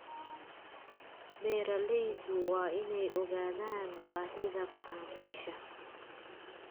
Beeralaydu waa inay ogaadaan baahida macaamiisha.